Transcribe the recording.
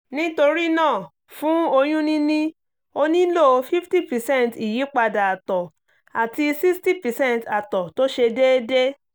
nítorí náà fún oyún níní o nílò 50 percent ìyípadà àtọ̀ àti 60 percent àtọ̀ tó ṣe déédé